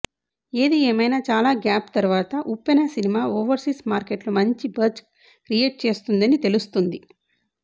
ఏది ఏమైనా చాలా గ్యాప్ తర్వాత ఉప్పెన సినిమా ఓవర్సీస్ మార్కెట్ లో మంచి బజ్ క్రియేట్ చేస్తుందని తెలుస్తుంది